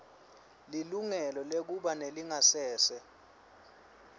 lilungelo lekuba nelingasese